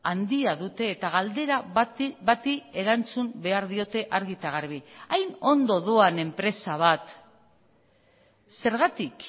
handia dute eta galdera bati erantzun behar diote argi eta garbi hain ondo doan enpresa bat zergatik